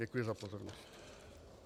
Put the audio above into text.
Děkuji za pozornost.